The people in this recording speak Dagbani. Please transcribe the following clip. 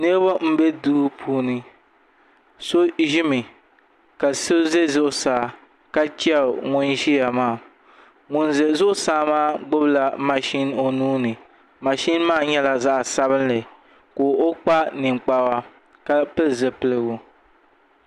Niraba n bɛ duu puuni so ʒimi ka so ʒɛ zuɣusaa ka chɛri ŋun ʒiya maa ŋun ʒɛ zuɣusaa maa gbubila mashin o nuuni mashin maa nyɛla zaɣ sabinli ka o kpa ninkpara ka pili zipiligu